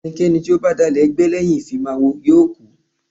Ẹni tí ó bá dalẹ̀ ẹgbẹ́ lẹ́yìn ìfimáwo yóò kú.